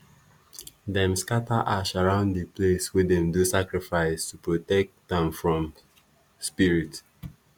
dem scatter ash around di place wey dem do sacrifice to protect am from spirit.